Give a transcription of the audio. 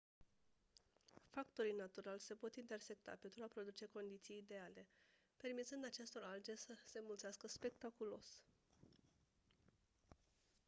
factorii naturali se pot intersecta pentru a produce condiții ideale permițând acestor alge să se înmulțească spectaculos